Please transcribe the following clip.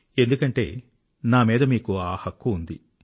ఎందుకంటే నామీద మీకు ఆ హక్కు ఉంది